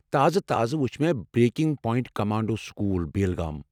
تازٕ تازٕ وُچھ مےٚ 'breaking point commando school, Belgaum'.